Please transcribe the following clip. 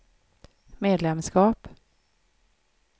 medlemskap